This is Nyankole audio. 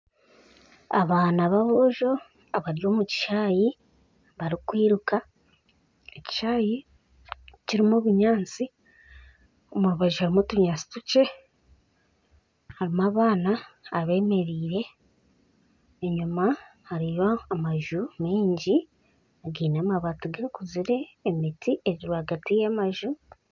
Abaana b'aboojo bari omu kishaayi barikwiruka, ekishaayi kirimu obunyaatsi omu rubaju harimu otunyaatsi tukye, harimu abaana abemereire, enyima hariyo amaju maingi againe amabaati gakuzire, emiti ahagaati y'enju